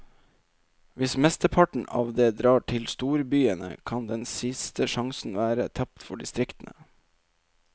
Hvis mesteparten av det drar til storbyene, kan den siste sjansen være tapt for distriktene.